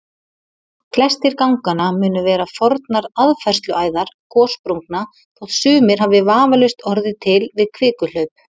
Flestir ganganna munu vera fornar aðfærsluæðar gossprungna þótt sumir hafi vafalaust orðið til við kvikuhlaup.